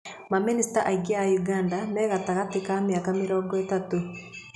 Mamĩnĩcita aingĩ a ũganda me gatagatĩ ka mĩaka mĩrongo ĩtatũ.